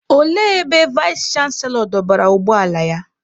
Olee ebe Vais chanselọ dọbara ụgbọ ala ya?